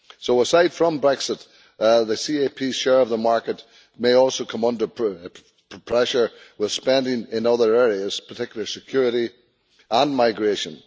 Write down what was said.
Aside from Brexit, the CAP share of the market may also come under pressure as a result of spending in other areas, particularly security and migration.